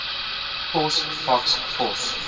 pos faks pos